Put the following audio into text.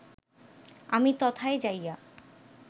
আমি তথায় যাইয়া